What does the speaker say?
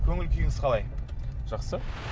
көңіл күйіңіз қалай жақсы